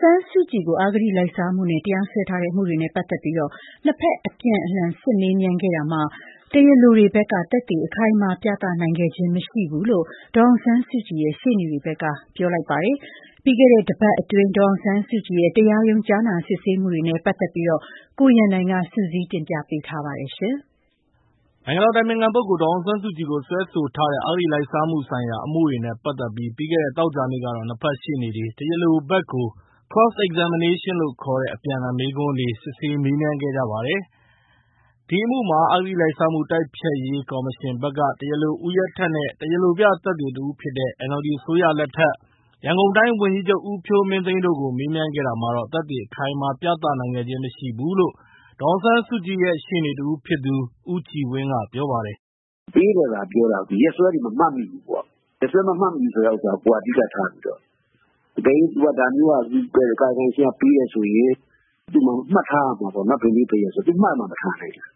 ဆန်းစုကြည်ကို အဂတိလိုက်စားမှုနဲ့ တရားစွဲထားတဲ့ အမှုတွေနဲ့ ပတ်သက်ပြီး နှစ်ဖက် အပြန်အလှန် စစ်ဆေးမေးမြန်းခဲ့တာမှာ တရားလိုတွေဘက်က သက်သေအခိုင်အမာ ပြသနိုင်ခဲ့ခြင်း မရှိဘူးလို့ ဒေါ်အောင်ဆန်းစုကြည်ရဲ့ ရှေ့နေတွေဘက်က ပြောလိုက်ပါတယ်။ ပြီးခဲ့တဲ့တပတ်အတွင်း ဒေါ်အောင်ဆန်းစုကြည်ရဲ့ တရားရုံး ကြားနာစစ်ဆေးမှုတွေနဲ့ ပတ်သက်ပြီး ကိုရန်နိုင်က စုစည်းတင်ပြထားပါတယ်။ နိုင်ငံတော်အတိုင်ပင်ခံပုဂ္ဂိုလ် ဒေါ်အောင်ဆန်းစုကြည်ကို စွဲဆိုထားတဲ့ အဂတိလိုက်စားမှုဆိုင်ရာ အမှုတွေနဲ့ ပတ်သက်ပြီး ပြီးခဲ့တဲ့ သောကြာနေ့ကတော့ နှစ်ဖက်ရှေ့နေတွေက တရားလိုဘက်ကို Cross Examinations လို့ခေါ်တဲ့ အပြန်အလှန် မေးခွန်းတွေနဲ့ စစ်မေးခဲ့ကြပါတယ်။ ဒီအမှုမှာ တရားလိုတွေဘက်က အဂတိတိုက်ဖျက်ရေးကော်မရှင် တာဝန်ရှိသူတဦးဖြစ်တဲ့ ဦးရဲထက်နဲ့ တရားလိုပြ သက်သေတဦးဖြစ်တဲ့ NLD အစိုးရလက်ထက် ရန်ကုန်တိုင်းဝန်ကြီးချုပ်ဖြစ်တဲ့ ဦးဖြိုးမင်းသိန်းတို့ကို မေးမြန်းခဲ့တာမှာတော့ သက်သေအခိုင်အမာ ပြသနိုင်ခဲ့ခြင်း မရှိဘူးလို့ ဒေါ်အောင်ဆန်းစုကြည်ရဲ့ ရှေ့နေတဦးဖြစ်သူ ဦးကြည်ဝင်းက ပြောပါတယ်။ “ပေးတယ်သာပြောတာ ရက်စွဲတွေ မမှတ်မိဘူးပေါ့၊ ရက်စွဲမမှတ်မိဘူး ဆိုတဲ့ဟာကို ကိုယ်က အဓိကထားပြီးတော့၊ အကယ်၍ ဒါမျိုးက ကာယကံရှင်က ပေးတယ်ဆိုရင် သူ မှတ်ထားရမှာပေါ့ ဘယ်နေ့ ဘယ်ရက်ဆိုတာ။ သူ မှတ်မှမထားနိုင်တာ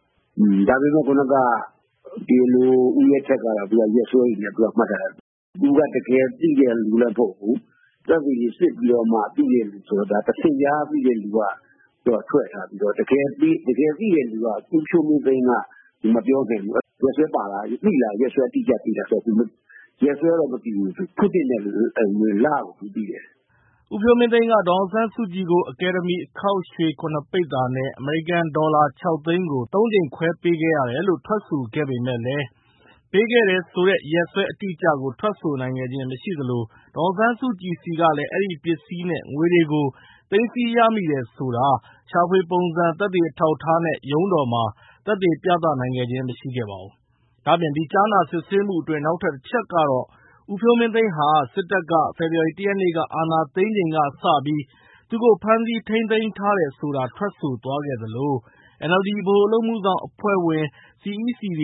။ ဒါပေမယ့် တရားလို ဦးရဲထက်ကတော့ သူက ရက်စွဲတွေနဲ့ မှတ်ထားတယ်။ သူက တကယ်သိတဲ့လူလည်း မဟုတ်ဘူး။ သက်သေတွေ စစ်ပြီးမှ သိတဲ့သူဆိုတော့ တဆင့်ကြားသိတဲ့သူက ထွက်ထားပြီးတော့ တကယ်သိတဲ့လူ ဦးဖြိုးမင်းသိန်းက မပြောခဲ့ဘူး။ ရက်စွဲပါလား၊ ရက်စွဲအတိအကျ သိလားဆိုတော့ သူ ရက်စွဲတော့မသိဘူး။ လကို သူသိတယ်။” ဦးဖြိုးမင်းသိန်းက ဒေါ်အောင်ဆန်းစုကြည်ကို အကယ်ဒမီအခေါက်ရွှေ ၇ ပိသာနဲ့ အမေရိကန်ဒေါ်လာ ၆ သိန်းကို ၃ ကြိမ်ခွဲပေးခဲ့ရတယ်လို့ ထွက်ဆိုခဲ့ပေမယ့်လည်း ပေးခဲ့တယ်ဆိုတဲ့ ရက်စွဲအတိအကျကို ထွက်ဆိုနိုင်ခဲ့ခြင်း မရှိသလို ဒေါ်အောင်ဆန်းစုကြည်ဆီကလည်း အဲဒီပစ္စည်းနဲ့ ငွေတွေကို သိမ်းဆည်းရမိတယ်ဆိုတာ ရှာဖွေပုံစံ သက်သေအထောက်အထားနဲ့ ရုံးတော်မှာ သက်သေပြသနိုင်ခဲ့ခြင်း မရှိပါဘူး။ ဒါ့အပြင် ဒီကြားနာစစ်ဆေးမှုအတွင်း နောက်ထပ်တချက်ကတော့ ဦးဖြိုးမင်းသိန်းဟာ စစ်တပ်က ဖေဖော်ဝါရီ ၁ ရက် အာဏာသိမ်းချိန်ကစပြီး သူ့ကို ဖမ်းဆီးထိန်းသိမ်းထားတယ်ဆိုတာ ထွက်ဆိုသွားခဲ့သလို NLD ဗဟိုအလုပ်အမှုဆောင်အဖွဲ့ တွေထဲက ဝန်ကြီး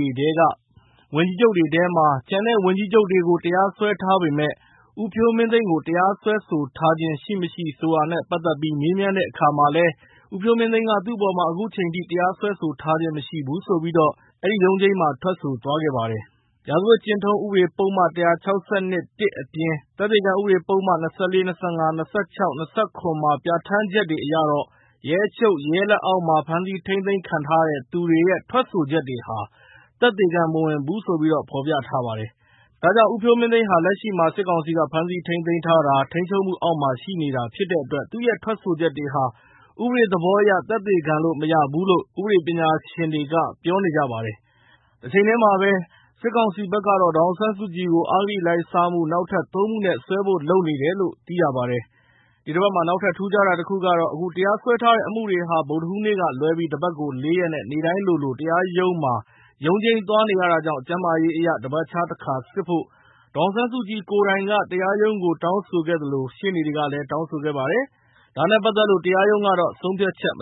ချုပ်တွေထဲမှာ ကျန်တဲ့ဝန်ကြီးချုပ်တွေကို တရားစွဲထားပေမယ့် ဦးဖြိုးမင်းသိန်းကို တရားစွဲဆိုထားခြင်းရှိမရှိ ဆိုတာနဲ့ ပတ်သက်ပြီး မေးမြန်းတဲ့အခါမှာလည်း ဦးဖြိုးမင်းသိန်းက သူ့အပေါ်မှာ အခုချိန်ထိ တရားစွဲဆိုထားခြင်း မရှိဘူးလို့ ထွက်ဆိုသွားခဲ့ပါတယ်။ ရာဇဝတ်ကျင့်ထုံး ဥပဒေပုဒ်မ ၁၆၂ အပြင် သက်သေခံဥပဒေပုဒ်မ မှာ ပြဋ္ဌာန်းချက်အရတော့ ရဲအချုပ်၊ ရဲလက်အောက်မှာ ဖမ်းဆီးထိန်းသိမ်း ခံထားရတဲ့သူရဲ့ ထွက်ဆိုချက်ဟာ သက်သေမဝင်ဘူးလို့ ဖော်ပြထားပါတယ်။ ဒါကြောင့် ဦးဖြိုးမင်းသိန်းဟာ လက်ရှိမှာ စစ်ကောင်စီက ဖမ်းဆီးထိန်းသိမ်းထားတာ၊ ထိန်းချုပ်မှုအောက်မှာ ရှိနေတဲ့အတွက် သူ့ရဲ့ထွက်ချက်ဟာ ဥပဒေသဘောအရ သက်သေခံလို့ မရဘူးလို့ ဥပဒေပညာရှင်တွေနဲ့ ဥပဒေပညာဆိုင်ရာ သုတေသီတွေက ပြောပါတယ်။ တချိန်တည်းမှာပဲ စစ်ကောင်စီဘက်ကတော့ ဒေါ်အောင်ဆန်းစုကြည်ကို အဂတိလိုက်စားမှု နောက်ထပ် ၃ မှုနဲ့ ထပ်စွဲဖို့ လုပ်နေပါတယ်။ ဒီတပတ်မှာ နောက်ထပ် ထူးခြားတာတခုကတော့ အခု တရားစွဲထားတဲ့ အမှုတွေဟာ ဗုဒ္ဓဟူးနေ့ကလွဲပြီး တပတ်ကို လေးရက်နဲ့ နေ့တိုင်းလိုလို တရားရုံးမှာ ရုံးချိန်းသွားနေရတာကြောင့် ကျန်းမာရေးအရ တပတ်ခြားတခါ စစ်ဖို့ ဒေါ်အောင်ဆန်းစုကြည်ကိုယ်တိုင် တရားရုံးကို တောင်းဆိုခဲ့သလို ရှေ့နေတွေကလည်း တောင်းဆိုခဲ့ပါတယ်။ ဒါနဲ့ပတ်သက်လို့ တရားရုံးက ဆုံးဖြတ်ချက် မ